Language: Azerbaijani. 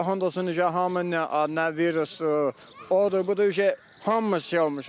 Allaha and olsun ki, hamı nə virusdur, odur, budur, hamımız şey olmuşuq da.